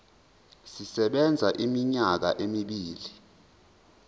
sisebenza iminyaka emibili